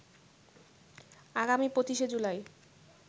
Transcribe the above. আগামী ২৫শে জুলাই